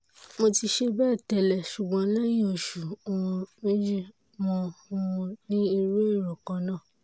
mo ti ṣe bẹ́ẹ̀ tẹ́lẹ̀ ṣùgbọ́n lẹ́yìn oṣù um méjì mo um ní irú èrò kan náà